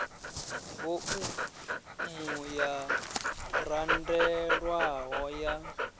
vo umu yo randelwaho ya